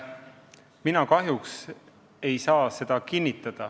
Mina kahjuks ei saa seda kinnitada.